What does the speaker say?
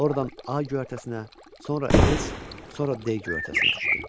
Oradan A göyərtəsinə, sonra S, sonra D göyərtəsinə düşdü.